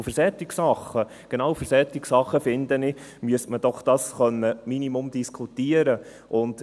Ich bin der Meinung, für solche Sachen, genau für solche Sachen, müsste man doch im Minimum darüber diskutieren können.